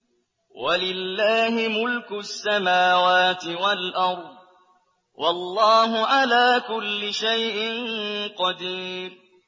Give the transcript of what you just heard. وَلِلَّهِ مُلْكُ السَّمَاوَاتِ وَالْأَرْضِ ۗ وَاللَّهُ عَلَىٰ كُلِّ شَيْءٍ قَدِيرٌ